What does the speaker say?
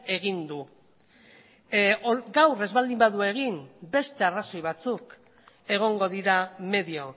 egin du gaur ez baldin badu egin beste arrazoi batzuk egongo dira medio